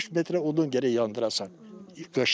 60 metrə odun gərək yandırasan qışda.